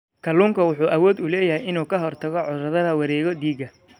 Kalluunku wuxuu awood u leeyahay inuu ka hortago cudurrada wareegga dhiigga.